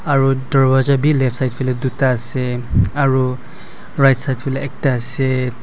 aru dorwaja bi left side phaley duta ase aro right side phaley ekta ase.